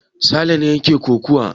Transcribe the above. Sale ne yake kokawa.